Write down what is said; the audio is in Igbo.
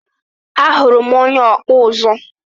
Ahuru m onye ọkpụ ụzụ.